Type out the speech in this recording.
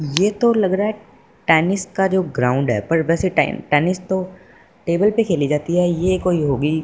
ये तो लग रहा है टेनिस का जो ग्राउंड है पर वैसे टे टेनिस तो टेबल पे खेली जाती है ये कोई होगी--